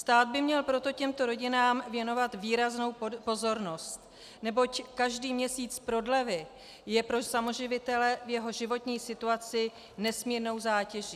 Stát by měl proto těmto rodinám věnovat výraznou pozornost, neboť každý měsíc prodlevy je pro samoživitele v jeho životní situaci nesmírnou zátěží.